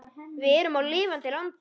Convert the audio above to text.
Við erum á lifandi landi.